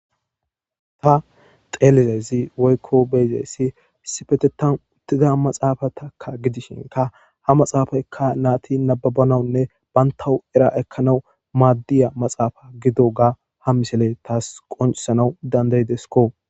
Ba xelizezi woykko beyzessi sifetetan uttida maxaafataka gidishinka ha maxaafaykka naati nababanawunne bayntawu era ekkanawu maaddiya maxaafa gido ga ha misele taas qonsanaw dandaydesko